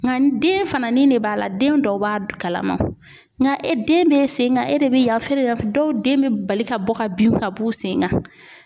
Nka den fana ni ne b'a la den dɔw b'a kalama nka e den be sen kan e de be yan dɔw den bɛ bali ka bɔ ka bin ka b'u sen kan.